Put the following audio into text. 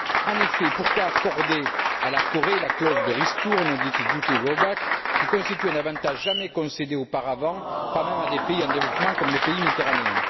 En effet, pourquoi accorder à la Corée la clause de ristourne, dite duty drawback, qui constitue un avantage jamais concédé auparavant, pas même à des pays en développement comme les pays méditerranéens.